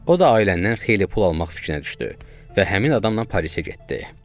O da ailədən xeyli pul almaq fikrinə düşdü və həmin adamla Parisə getdi.